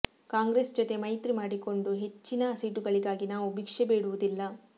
ಕಾಂಗ್ರೆಸ್ ಜೊತೆ ಮೈತ್ರಿ ಮಾಡಿಕೊಂಡು ಹೆಚ್ಚಿನ ಸೀಟುಗಳಿಗಾಗಿ ನಾವು ಭಿಕ್ಷೆ ಬೇಡುವುದಿಲ್ಲ